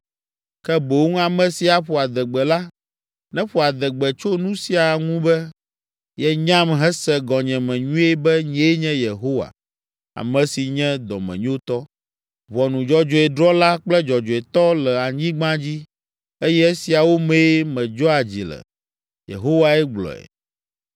ke boŋ ame si aƒo adegbe la, neƒo adegbe tso nu sia ŋu be, yenyam hese gɔnyeme nyuie be nyee nye Yehowa, ame si nye dɔmenyotɔ, ʋɔnu dzɔdzɔe drɔ̃la kple dzɔdzɔetɔ le anyigba dzi eye esiawo mee medzɔa dzi le,” Yehowae gblɔe.